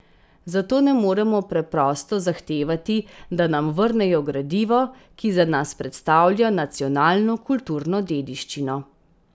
Zato ne moremo preprosto zahtevati, da nam vrnejo gradivo, ki za nas predstavlja nacionalno kulturno dediščino.